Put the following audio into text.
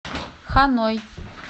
ханой